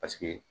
Paseke